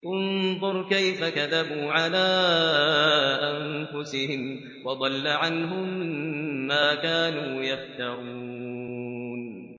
انظُرْ كَيْفَ كَذَبُوا عَلَىٰ أَنفُسِهِمْ ۚ وَضَلَّ عَنْهُم مَّا كَانُوا يَفْتَرُونَ